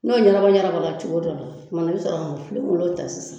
N'o ɲɛnabɔ ɲɛnabɔ cogo dɔ la, tuma i bi sɔrɔ ka filenkolon ta sisan